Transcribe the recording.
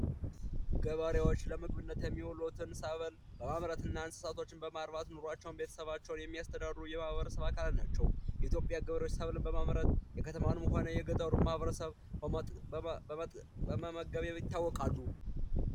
ገበሬዎች ለምግብነት የሚውሉትን ሰብሎች በማምረትና እንስሳቶችን በማርባት ቤተሰቦቻቸውን የሚያስተዳድሩ የማህበረሰብ አካላት ናቸው የኢትዮጵያ ገቢዎች ሰብልን በማምረት የከተማና የገጠሩ ማህበረሰብ በመመገብ ይታወቃሉ።